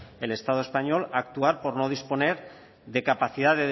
el estado español actuar por no disponer de capacidad